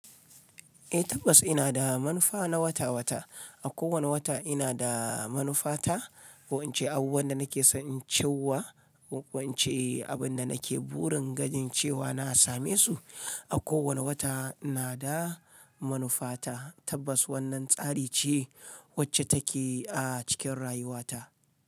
Eh tabbas ina da manufa na wata-wata. A kowane wata ina da manufa ta wance abubuwan da nake son cewa, wance abin da nake burin ganin cewa na same su. A kowane wata ina da manufa ta. Tabbas wannan tsari ce wacce take a cikin rayuwata.